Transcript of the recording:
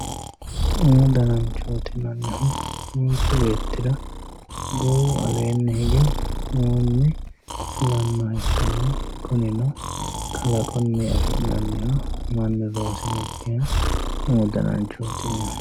Umu dananchoti yinannnihu manchu beetira goowu aleenni hige fulanoha ikkanna kunino kalqunni afinaniho manu loosinokiha umu dananchoti yinanni